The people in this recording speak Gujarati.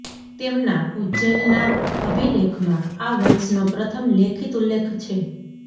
તેમના ઉજ્જૈનના અભિલેખમાં આ વંશનો પ્રથમ લેખિત ઉલ્લેખ છે